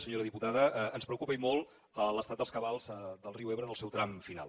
senyora diputada ens preocupa i molt l’estat dels cabals del riu ebre en el seu tram final